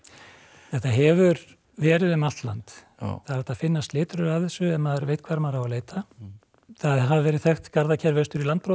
þetta hefur verið um allt land það er hægt að finna slitrur af þessu ef maður veit hvar maður á að leita það hafa verið þekkt garðakerfi austur í landbroti